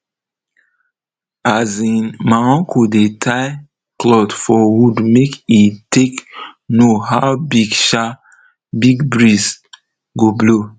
um my uncle dey tie cloth for wood make e take know how big um big breeze go blow